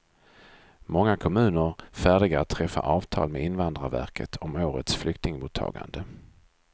Många kommuner färdiga att träffa avtal med invandrarverket om årets flyktingmottagande.